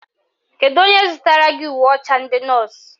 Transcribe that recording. Kedu onye zụtara gị uwe ọcha ndị nọọsụ?